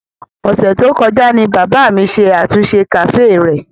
Ọ̀sẹ̀ tó kọjá ni bàbá mi ṣe àtúnṣe kàféè rẹ̀.